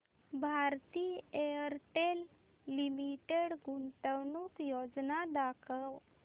Bharti Airtel limited गुंतवणूक योजना दाखव